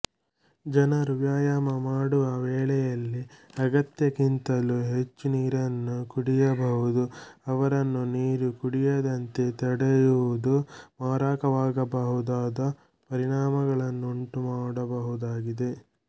ಜನರು ವ್ಯಾಯಾಮ ಮಾಡುವ ವೇಳೆಯಲ್ಲಿ ಅಗತ್ಯಕ್ಕಿಂತಲೂ ಹೆಚ್ಚು ನೀರನ್ನು ಕುಡಿಯಬಹುದು ಅವರನ್ನು ನೀರು ಕುಡಿಯದಂತೆ ತಡೆಯುವುದು ಮಾರಕವಾಗಬಹುದಾದ ಪರಿಣಾಮಗಳನ್ನುಂಟು ಮಾಡಬಹುದಾಗಿದೆ